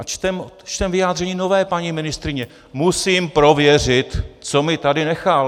A čteme vyjádření nové paní ministryně - musím prověřit, co mi tady nechal.